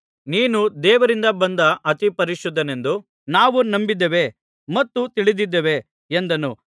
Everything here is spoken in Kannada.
ನೀನು ದೇವರಿಂದ ಬಂದ ಅತಿಪರಿಶುದ್ಧನೆಂದು ನಾವು ನಂಬಿದ್ದೇವೆ ಮತ್ತು ತಿಳಿದಿದ್ದೇವೆ ಎಂದನು